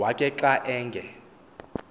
wakhe xa enge